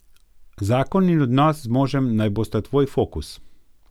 Zakon in odnos z možem naj bosta tvoj fokus.